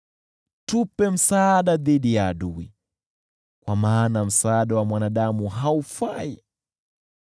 Tuletee msaada dhidi ya adui, kwa maana msaada wa mwanadamu haufai kitu.